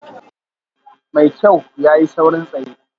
Mai kyau, ya yi saurin tsaye